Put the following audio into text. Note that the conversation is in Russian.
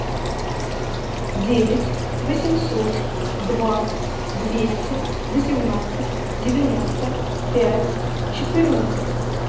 девять восемьсот два двести восемнадцать девяносто пять четырнадцать